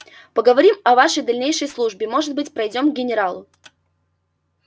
поговорим о вашей дальнейшей службе может быть пройдём к генералу